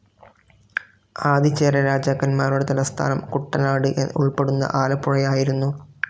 ആദിചേരരാജാക്കന്മാരുടെ തലസ്ഥാനം കുട്ടനാട് ഉൾപ്പെടുന്ന ആലപ്പുഴയായിരുന്നു.